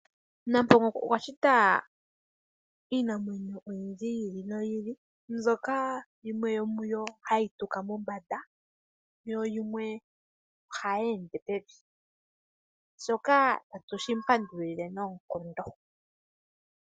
Nampongo okwa shita iinamwenyo oyindji yi ili noyi ili mbyoka yimwe yomuyo hayi tuka mombanda yo yimwe ohayi ende pevi, shoka tatu shi mu pandulile noonkondo.